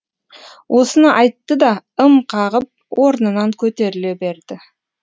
осыны айтты да ым қағып орнынан көтеріле берді